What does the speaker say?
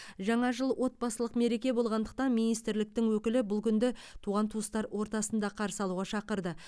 жаңа жыл отбасылық мереке болғандықтан министрліктің өкілі бұл күнді туған туыстардың ортасында қарсы алуға шақырды